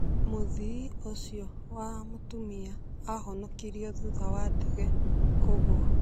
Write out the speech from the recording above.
Mũthii ũcio wa mũtumia ahonokirio thutha wa ndege kũgua